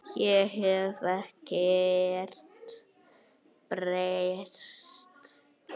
Ég hef ekkert breyst!